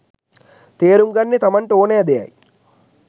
තේරුම් ගන්නේ තමන්ට ඕනෑ දෙයයි.